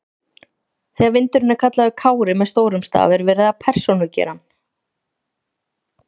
Þegar vindurinn er kallaður Kári með stórum staf er verið að persónugera hann.